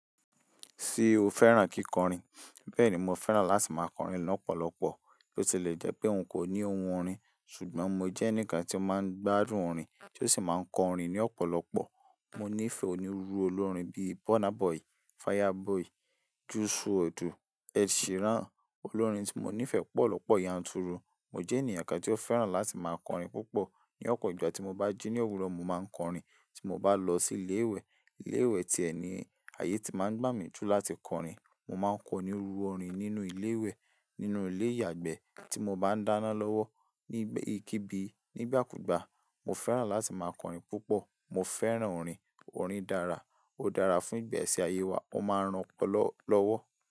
Ṣé o fẹ́ràn kíkọrin? Bẹ́ẹ̀ni, mo fẹ́ràn láti máa kọrin lọ́pọ̀lọpọ̀. Bó ti le jẹ́ pé n kò ní ohun orin, ṣùgbọ́n mo jẹ́ ẹnìkan tí ó máa ń gbádùn orin, tí ó sì máa ń kọrin ní ọ̀pọ̀lọpọ̀. Mo nífẹ̀ẹ́ onírúurú olórin bíi Burna Boy, Fireboy, Jus wọdu, Ed Sheeran, olórin tí mo nífẹ̀ẹ́ pọ̀ lọ́pọ̀ yanturu. Mo jẹ́ ènìyàn kan tí ó fẹ́ràn láti máa kọrin púpọ̀. Ni ọ̀pọ̀ ìgbà tí mo bá jí ní òwúrọ̀, mo máa ń kọrin. Tí mo bá lọ sí ilé ìwẹ̀, ilé ìwẹ̀ tí ẹ̀ ni ayé ti máa ń gbà mí ju láti kọrin. Mo máa ń kọ onírúurú orin nínú ilé ìwẹ̀, nínú ilé ìyàgbẹ́ tí mo bá ń dáná lọ́wọ́ ní ìkíbi nígbàkúgbà. Mo fẹ́ràn láti máa kọrin púpọ̀. Mo fẹ́ràn orin. Orin dára, ó dára fún ìgbése ayé wa, ó máa ń ran ọpọ́lo lọ́wọ́.